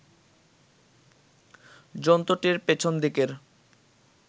জন্তুটির পেছন দিকের